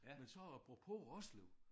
Men så apropos Roslev